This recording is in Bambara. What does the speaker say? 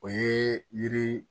O ye yiri